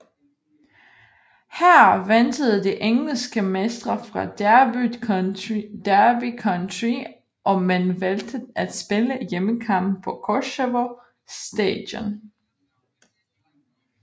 Her ventede de engelske mestre fra Derby County og man valgte at spille hjemmekampen på Koševo stadion